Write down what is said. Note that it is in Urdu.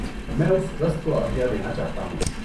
میں اُس ٹرسٹ کو عطیہ دینا چاہتا ہوں۔